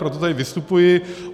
Proto tady vystupuji.